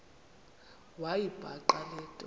wayibhaqa le nto